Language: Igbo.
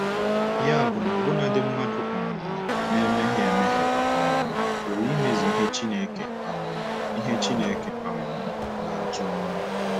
Ya bụ na ọbụnadi mmadụ um na-emehie emehie um pụrụ imezu ihe Chineke um ihe Chineke um na-achọ.